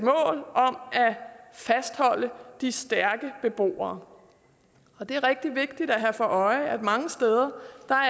fastholde de stærke beboere det er rigtig vigtigt at have for øje at mange steder